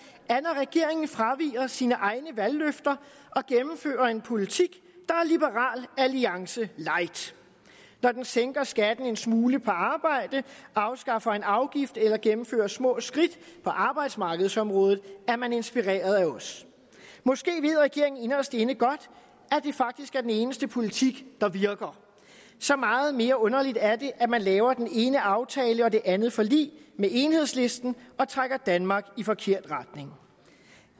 er når regeringen fraviger sine egne valgløfter og gennemfører en politik der er liberal alliance light når den sænker skatten en smule på arbejde afskaffer en afgift eller gennemfører små skridt på arbejdsmarkedsområdet er man inspireret af os måske ved regeringen inderst inde godt at det faktisk er den eneste politik der virker så meget mere underligt er det at man laver den ene aftale og det andet forlig med enhedslisten og trækker danmark i forkert retning